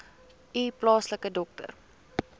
u plaaslike dokter